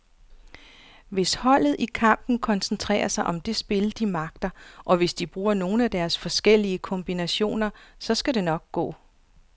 Hvis holdet i kampen koncentrerer sig om det spil, de magter, og hvis de bruger nogle af deres forskellige kombinationer, så skal det nok gå.